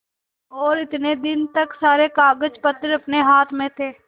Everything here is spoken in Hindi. और इतने दिन तक सारे कागजपत्र अपने हाथ में थे